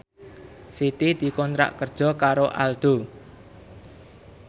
Siti dikontrak kerja karo Aldo